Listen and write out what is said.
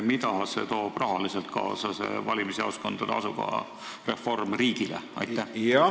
Mida toob see valimisjaoskondade asukoha reform rahaliselt riigile kaasa?